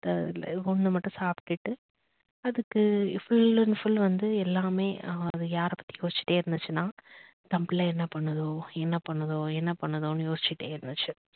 இந்த ஒன்னு மட்டும் சாப்டுட்டு அதுக்கு full and full வந்து எல்லாமே எர் அது யாரைப் பத்தி யோசிச்சிட்டே இருந்துச்சுன்னா தன் பிள்ளை என்ன பண்ணுதோ, என்ன பண்ணுதோ, என்ன பண்ணுதோன்னு யோசிச்சிட்டே இருந்துச்சு